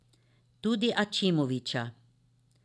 Tudi Ačimovića.